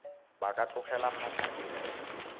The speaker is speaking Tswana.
ba ka tlogela phatlha eo